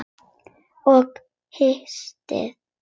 Og hatrið.